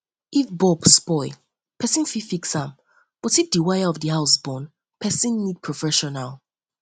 if bulb spoil person fit fix am but if di wire of house burn person need professional